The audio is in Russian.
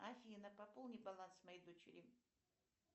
афина пополни баланс моей дочери